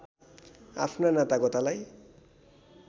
आफ्ना नातागोतालाई